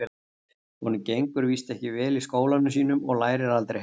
Honum gengur víst ekki vel í skólanum sínum og lærir aldrei heima.